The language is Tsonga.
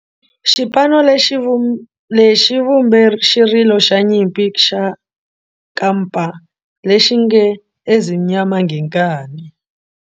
Xipano lexi xi vumbe xirilo xa nyimpi xa kampa lexi nge 'Ezimnyama Ngenkani'.